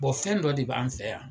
Bon fɛn dɔ de b'an fɛ yan